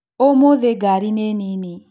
ũmũthĩ ngari nĩ nini